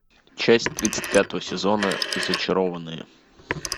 часть тридцать пятого сезона зачарованные